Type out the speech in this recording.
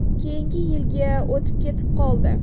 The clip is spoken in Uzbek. Keyingi yilga o‘tib ketib qoldi.